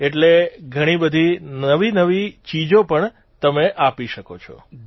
એટલે ઘણીબધી નવીનવી ચીજો પણ તમે આપી શકો છો